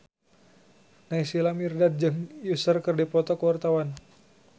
Naysila Mirdad jeung Usher keur dipoto ku wartawan